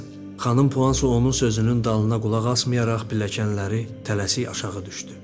Xanım Puanso onun sözünün dalına qulaq asmayaraq pilləkənləri tələsik aşağı düşdü.